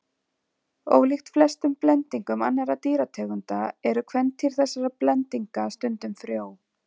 Ólíkt flestum blendingum annarra dýrategunda eru kvendýr þessara blendinga stundum frjó.